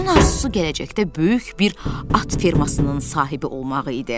Onun arzusu gələcəkdə böyük bir at fermasının sahibi olmağı idi.